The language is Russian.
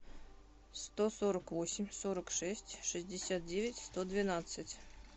сто сорок восемь сорок шесть шестьдесят девять сто двенадцать